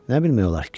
Nə bilmək olar?